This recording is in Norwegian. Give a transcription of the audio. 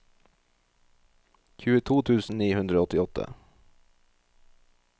tjueto tusen ni hundre og åttiåtte